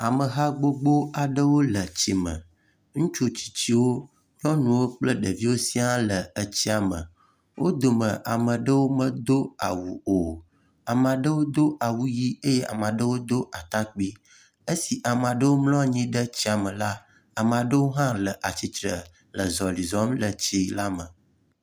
ameha gbogbó aɖewo le tsime ŋutsu tsitsiwo nyɔnuwo kple ɖeviwo sia le etsia me wó dome amaɖewo medó awu o amaɖewo dó awu yi ye amaɖewo dó atakpi esi amaɖewo mlɔnyi ɖe etsia me la amaɖewo hã le atsitre